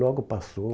Logo passou.